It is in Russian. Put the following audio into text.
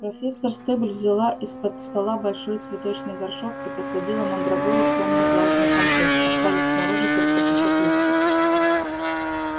профессор стебль взяла из-под стола большой цветочный горшок и посадила мандрагору в тёмный влажный компост оставив снаружи только пучок листьев